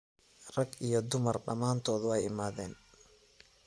Raag iyo dumar damantodh way iimaden.